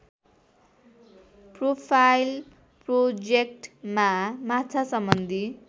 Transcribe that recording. profile प्रोजेक्टमा माछासम्बन्धी